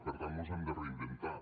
per tant mos hem de reinventar